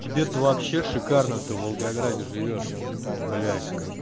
тебе-то вообще шикарно ты в волгограде живёшь там блять